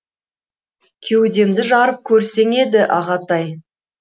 кеудемді жарып көрсең еді ағатай